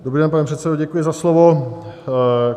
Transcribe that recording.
Dobrý den, pane předsedo, děkuji za slovo.